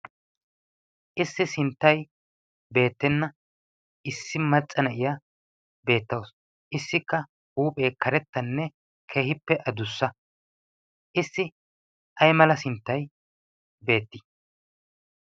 issi sinttai beettenna issi maccana iya beettausu issikka huuphee karettanne kehippe adussa issi ai mala sinttai beetti?